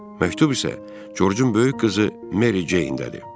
Məktub isə Corcun böyük qızı Meri Ceyndədir.